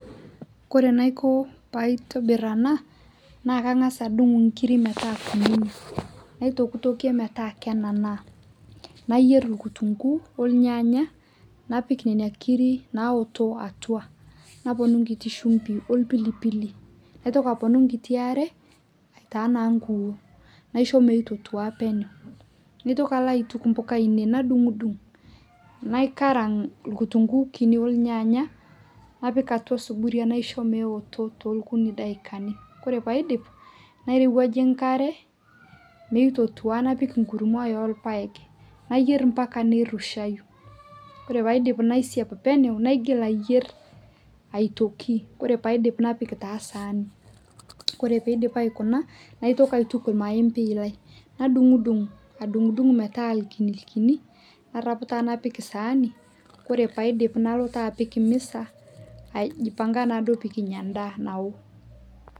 Kore ainoko paitibir ena, naa kang'as adung inkiri meetaa kunini, naitokitokie meeta kenana, naiyer enkitunkuu, ornyanya napik nena kirik naoto atua naponu enkiti shimbi opilipili. Naitoki aponu nkitii are aitao na pii. Naisho naa meitotua peno. Naitokii alo aituku mpuka ainei , nadung'u dung' , naikarank nkutunkuni olnyanya napik atua osuburia naisho meoto tukitii taidakini. Koree paidip nairowaje nkare meototua napik enkurma orpaek nayier mpaka nirushayu. Ore paidim naisiapenu naigil aiyer aitoki, ore paidip napik taa saani. Ore peidip aikuna, naitoki taa aituku maembei lai, nadung'u dung', adung' dung' meeta kinikini narop taa napik saani, ore paidip nalo taa apik misa aijipanga naaduo pekinya ndaa nawuo.